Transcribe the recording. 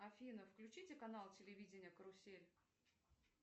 афина включите канал телевидения карусель